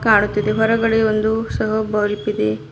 ಕಾಣುತ್ತಿದೆ ಹೊರಗಡೆ ಒಂದು ಸಹ ಬಲ್ಬ್ ಇದೆ.